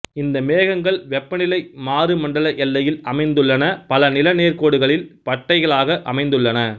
இந்த மேகங்கள் வெப்பநிலை மாறு மண்டல எல்லையில் அமைந்துள்ளன பல நிலநேர்க்கோடுகளில் பட்டைகளாக அமைந்துள்ளன